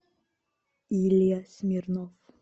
илья смирнов